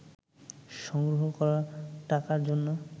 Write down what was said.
সংগ্রহ করা টাকার জন্য